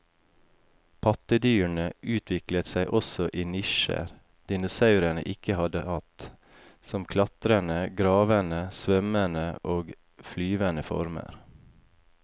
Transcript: Pattedyrene utviklet seg også i nisjer dinosaurene ikke hadde hatt, som klatrende, gravende, svømmende og flyvende former.